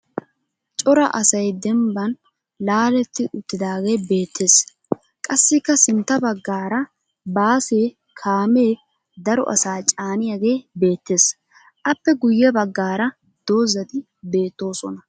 Cora asay dembban laaletti uttidaage beettes. Qassikka sintta baggaara baase kaame daro asaa caaniyage beettes. Appe guyye baggaara dozzati beettoosona.